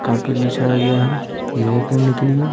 carpet बिछाया गया है योगा करने के लिए--